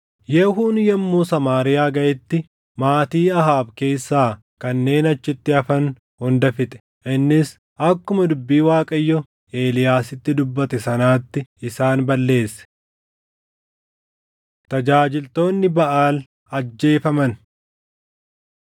Yehuun yommuu Samaariyaa gaʼetti maatii Ahaab keessaa kanneen achitti hafan hunda fixe; innis akkuma dubbii Waaqayyo Eeliyaasitti dubbate sanaatti isaan balleesse. Tajaajiltoonni Baʼaal ajjeefaman